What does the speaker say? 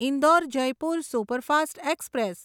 Indore Jaipur superfast express